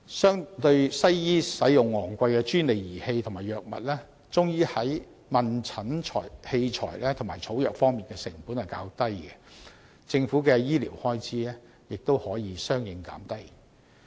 相對西醫使用昂貴專利儀器和藥物，中醫在問診器材和草藥方面的成本較低，政府的醫療開支亦可相應減低。